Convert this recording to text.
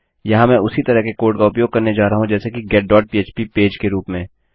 यहाँ मैं उसी तरह के कोड़ का उपयोग करने जा रहा हूँ जैसे कि getपह्प पेज के रूप में